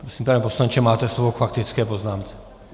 Prosím, pane poslanče, máte slovo k faktické poznámce.